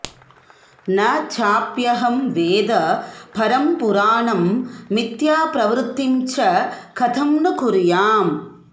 न चाप्यहं वेद परं पुराणं मिथ्याप्रवृत्तिं च कथं नु कुर्याम्